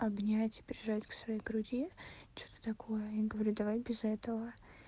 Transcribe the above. обнять прижать к своей груди что-то такое я говорю давай без этого